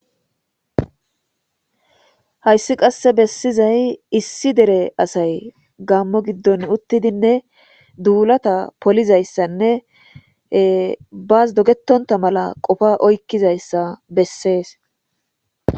Haysi qase besizay issi dere asay Gamo gidon uttidinne dulata polizaysanne bas dogetonta mala qopa oykizaysa besses